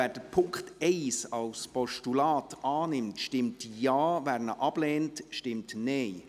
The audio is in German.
Wer den Punkt 1 als Postulat annimmt, stimmt Ja, wer diesen ablehnt, stimmt Nein.